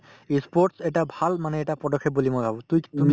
ই sports এটা ভাল মানে এটা পদক্ষেপ বুলি মই ভাবো তুইত তুমি